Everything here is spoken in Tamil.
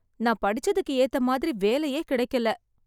நான் படிச்சதுக்கு ஏத்த மாதிரி வேலையே கிடைக்கல.